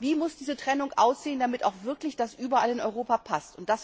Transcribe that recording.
wie diese Trennung aussehen muss, damit das auch wirklich überall in Europa passt.